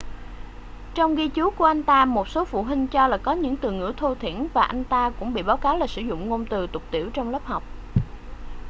trong ghi chú của anh ta một số phụ huynh cho là có những từ ngữ thô thiển và anh ta cũng bị báo cáo là sử dụng ngôn từ tục tĩu trong lớp học